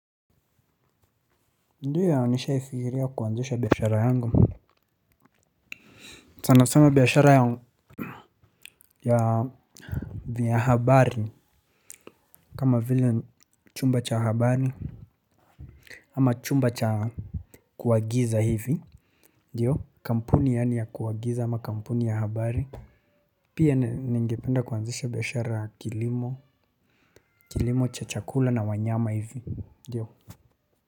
Ndiyo nishai fiikiria kuanzisha biashara yangu. Sana sana biashara ya vya habari kama vile chumba cha habari. Ama chumba cha kuagiza hivi. Ndiyo kampuni yaani ya kuagiza ama kampuni ya habari. Pia ningependa kuanzisha biashara ya kilimo kilimo cha chakula na wanyama hivi. Ndiyo.